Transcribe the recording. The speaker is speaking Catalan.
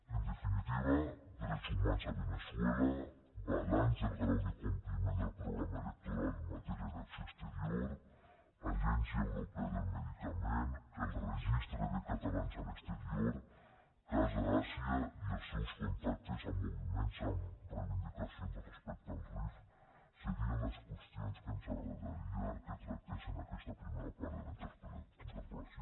en definitiva drets humans a veneçuela balanç del grau de compliment del programa electoral en matèria d’acció exterior agència europea del medicament el registre de catalans a l’exterior casa àsia i els seus contactes amb moviments amb reivindicacions respecte al rif serien les qüestions que ens agradaria que tractés en aquesta primera part de la interpel·lació